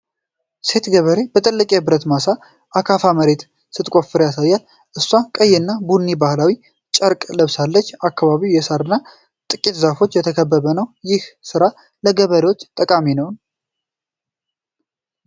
ሴት ገበሬ በትልቅ የብረት ምሳር (አካፋ) መሬት ስትቆፍር ያሳያል። እሷ ቀይና ቡኒ ባህላዊ ጨርቅ ለብሳለች። አካባቢው በሳርና ጥቂት ዛፎች የተከበበ ነው። ይህ ሥራ ለገበሬው ጠቃሚ ነው?